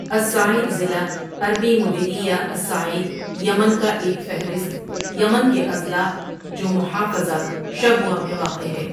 الصعید ضلع عربی مديرية الصعيد یمن کا ایک فہرست یمن کے اضلاع جو محافظہ شبوہ میں واقع ہے